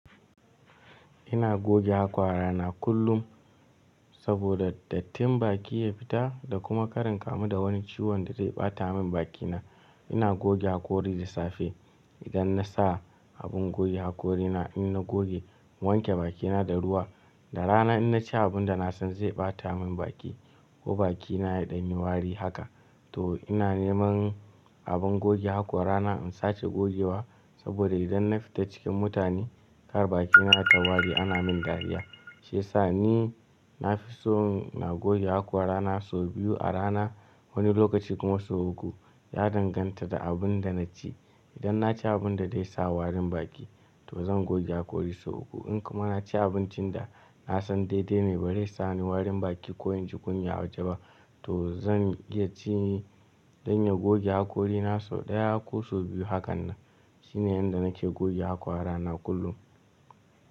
Ina goge hakwara na kullum saboda dattin baki ya fita da kuma kar in kamu da wani ciwon da zai ɓata min bakina. Ina goge hakori da safe idan na sa abin goge hakori na, in na goge in wanke bakina da ruwa. Da rana in na ci abun da na san zai ɓata min baki ko bakina ya ɗan yi wari haka to ina neman abin goge hakora na in sace gogewa saboda idan na fita cikin mutane kar bakina ta wari ana min dariya. Shi yasa ni na fi so na goge hakora na sau biyu a rana wani lokaci kuma sau uku. Ya danganta da abun da na ci. Idan na ci abun da zai sa warin baki to zan goge hakori sau uku. In kuma na ci abincin da na san daidai ne ba zai sa ni warin baki ko in ji kunya a waje ba to zan iya ci dan ya goge hakori na sau ɗaya ko sau biyu. Hakanan shine yanda nake goge hakora na kullum.